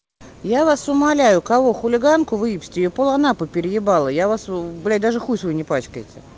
я вас умоляю кого хулиганку выебсти её пол анапы переебало я вас блять даже хуй свой не пачкайте